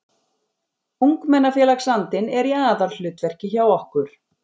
Ungmennafélagsandinn er í aðalhlutverki hjá okkur